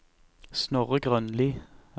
Snorre Grønli